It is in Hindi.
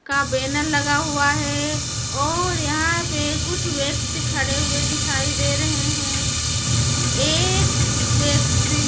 का बैनर लगा हुआ है और यहाँ पे कुछ व्यक्ति खड़े हुए दिखाई दे रहे हैं एक व्यक्ति--